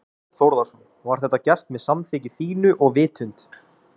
Þorbjörn Þórðarson: Var þetta gert með samþykki þínu og vitund?